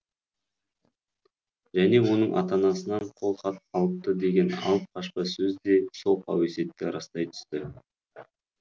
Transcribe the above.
және оның ата анасынан қол хат алыпты деген алып қашпа сөз де сол қауесетті растай түсті